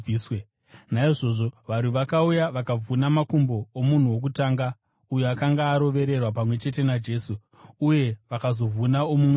Naizvozvo varwi vakauya vakavhuna makumbo omunhu wokutanga uyo akanga arovererwa pamwe chete naJesu, uye vakazovhuna omumwe wacho.